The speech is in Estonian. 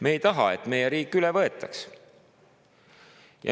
Me ei taha, et meie riik üle võetaks.